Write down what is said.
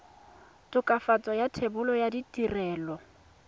tokafatso ya thebolo ya ditirelo